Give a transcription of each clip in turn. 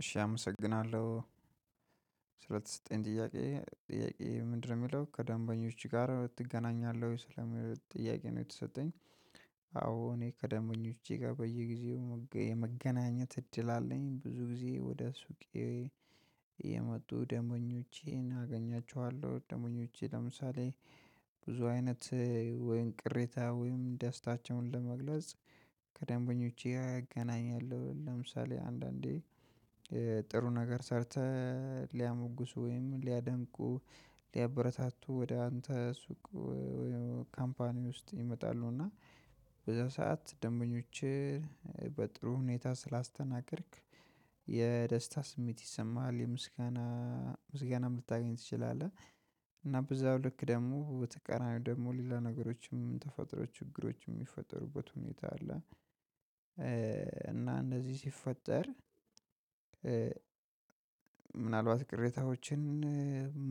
እሺ አመሰግናለሁ ስለተሰጠኝ ጥያቄ ጥያቄ ምንድነው የሚለው ከደንበኞች ጋር ትገናኛለህ ወይ ስለሚለው ጥያቄ ነው የተሰጠኝ? አዎ እኔ ከደንበኞቼ ጋር በየጊዜው የመገናኘት እድል አለኝ ብዙ ጊዜ ወደ ሱቄ የመጡ ደሞኞቼን አገኛቸዋለሁ። ደሞኞቼ ለምሳሌ ብዙ አይነት ወይን ቅሬታ ወይን ደስታቸውን ለመግለጽ ከደንበኞቼ አገናኛለሁ ለምሳሌ አንዳንዴ ጥረ ነገር ሰርተህ ቢያደንቁ በዛ ሰዓት ደንበኞችህ በጥሩ ሁኔታ ስላስተናገድክ የደስታ ስሜት ይሰማሃል። የምስጋና ምስጋናም ልታገኝ ትችላለህ። እና በዛው ልክ ደግሞ በተቀናቃኝ ደግሞ ሌላ ነገሮችም ተፈጥሮ ችግሮችም የሚፈጠሩበት ሁኔታ አለ። እና እንደዚህ ሲፈጠር ምናልባት ቅሬታዎችን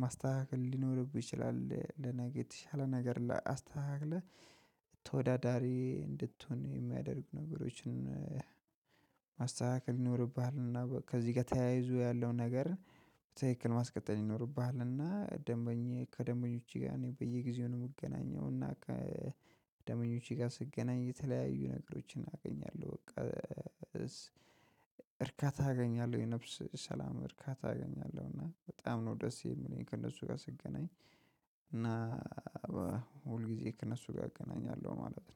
ማስተካከል ሊኖርብህ ይችላል። ለነገ የተሻለ ነገር ላይ አስተካክለህ ተወዳዳሪ እንድትሆን የሚያደርጉ ነገሮችን ማስተካከል ይኖርብሃል። እና ከዚህ ጋር ተያይዞ ያለውን ነገር በትክክል ማስቀጠል ይኖርብሃል። እና ደንበኛ ከደንበኞቼ ጋር እኔ በየጊዜው ነው የምገናኘው እና ከደምበኞቼ ጋር ስገናኝ የተለያዩ ነገሮችን አገኛለሁ። በቃ እርካታ አገኛለሁ የነፍስ ሰላም እርካታ አገኛለሁ እና በጣም ነው ደስ የሚለኝ ከእነሱ ጋር ስገናኝ። እና ሁል ጊዜ ከእነሱ ጋር እገናኛለሁ ማለት ነው።